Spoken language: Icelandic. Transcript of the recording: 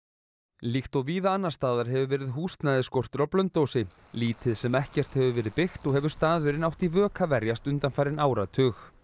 líkt og víða annars staðar hefur verið húsnæðisskortur á Blönduósi lítið sem ekkert hefur verið byggt og hefur staðurinn átt í vök að verjast undanfarinn áratug